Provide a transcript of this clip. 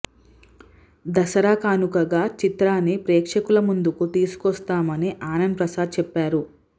దసరా కానుకగా చిత్రాన్ని ప్రేక్షకుల ముందుకు తీసుకొస్తాం అని ఆనంద ప్రసాద్ చెప్పారు